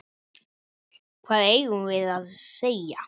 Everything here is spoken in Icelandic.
Hvað eigum við að segja?